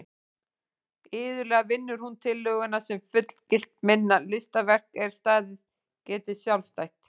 Iðulega vinnur hún tillöguna sem fullgilt minna listaverk er staðið geti sjálfstætt.